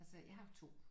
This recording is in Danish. Altså jeg har 2